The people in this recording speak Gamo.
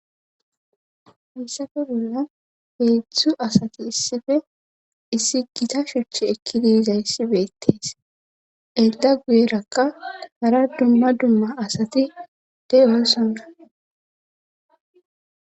missafe bolla beedzdzu asati issife issi gita shuchchi ekkidiiza issi beettees egda guyerakka hara dumma dumma asati de7o sunra